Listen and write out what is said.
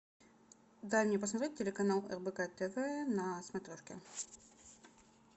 дай мне посмотреть телеканал рбк тв на смотрешке